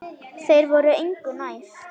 Þeir voru engu nær.